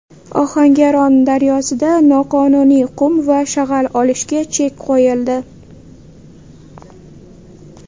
Ohangaron daryosida noqonuniy qum va shag‘al olishga chek qo‘yildi.